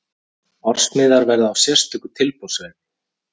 Ársmiðar verða á sérstöku tilboðsverði.